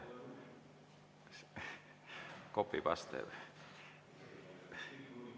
Copy-paste.